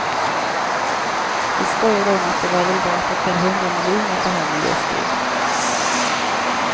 Vi skojade om att det var väl värt ett par hundra miljoner för henne just då.